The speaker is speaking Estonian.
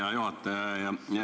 Hea juhataja!